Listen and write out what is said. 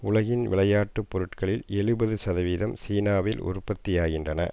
உலகின் விளையாட்டு பொருட்களில் எழுபது சதவீதம் சீனாவில் உற்பத்தியாகின்றன